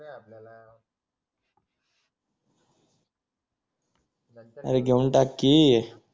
अरे घेऊन टाक कि